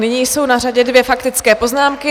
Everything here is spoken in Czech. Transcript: Nyní jsou na řadě dvě faktické poznámky.